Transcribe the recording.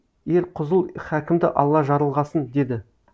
ерқұзұл хакімді алла жарылғасын деді